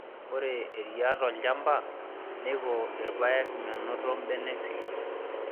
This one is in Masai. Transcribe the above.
Ore eriaa tolchamba neiko irpayek menoto imbenek sikitok